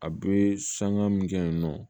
A bɛ sanga min kɛ yen nɔ